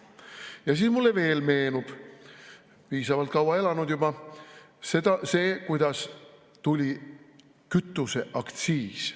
Ja siis mulle meenub – piisavalt kaua elanud juba – veel see, kuidas tuli kütuseaktsiis.